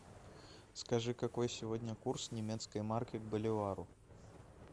скажи какой сегодня курс немецкой марки к боливару